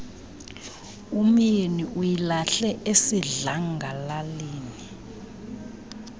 umyeni uyilahle esidlangalaleni